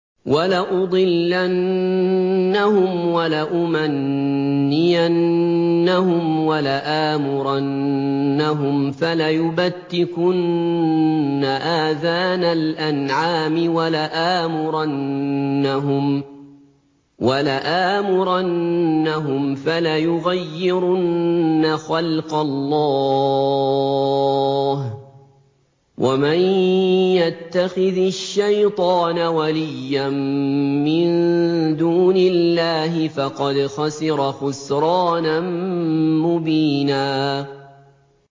وَلَأُضِلَّنَّهُمْ وَلَأُمَنِّيَنَّهُمْ وَلَآمُرَنَّهُمْ فَلَيُبَتِّكُنَّ آذَانَ الْأَنْعَامِ وَلَآمُرَنَّهُمْ فَلَيُغَيِّرُنَّ خَلْقَ اللَّهِ ۚ وَمَن يَتَّخِذِ الشَّيْطَانَ وَلِيًّا مِّن دُونِ اللَّهِ فَقَدْ خَسِرَ خُسْرَانًا مُّبِينًا